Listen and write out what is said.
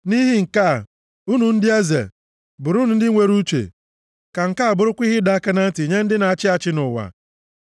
Nʼihi nke a, unu ndị eze, bụrụnụ ndị nwere uche; ka nke a bụrụkwa ihe ịdọ aka na ntị nye ndị na-achị achị nʼụwa.